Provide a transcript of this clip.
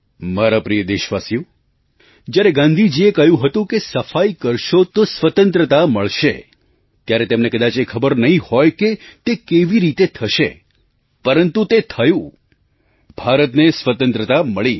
મારા પ્રિય દેશવાસીઓ જ્યારે ગાંધીજીએ કહ્યું હતું કે સફાઈ કરશો તો સ્વતંત્રતા મળશે ત્યારે તેમને કદાચ એ ખબર નહીં હોય કે તે કેવી રીતે થશે પરંતુ તે થયું ભારતને સ્વતંત્રતા મળી